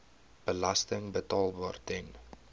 belasting betaalbaar ten